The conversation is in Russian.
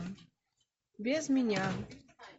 без меня